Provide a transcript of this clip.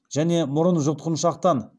және мұрын жұтқыншақтан